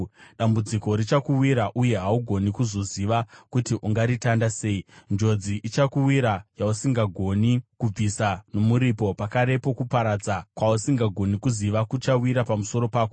Dambudziko richakuwira, uye haugoni kuzoziva kuti ungaritanda sei. Njodzi ichakuwira yausingagoni kubvisa nomuripo; pakarepo kuparadza kwausingagoni kuziva, kuchawira pamusoro pako.